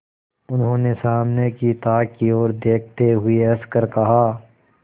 उन्होंने सामने की ताक की ओर देखते हुए हंसकर कहा